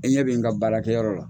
E ɲɛ bɛ n ka baarakɛyɔrɔ la.